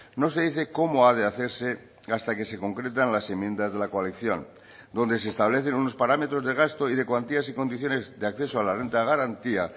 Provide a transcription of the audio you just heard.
no se dice cómo ha de hacerse hasta que se concretan las enmiendas de la coalición donde se establecen unos parámetros de gasto y de cuantías y condiciones de acceso a la renta de garantía